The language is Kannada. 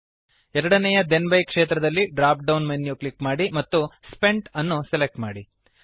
ಎರಡನೆಯ ಥೆನ್ ಬೈ ಕ್ಷೇತ್ರದಲ್ಲಿ ಡ್ರಾಪ್ ಡೌನ್ ಅನ್ನು ಕ್ಲಿಕ್ ಮಾಡಿ ಮತ್ತು ಸ್ಪೆಂಟ್ ಅನ್ನು ಸೆಲೆಕ್ಟ್ ಮಾಡಿ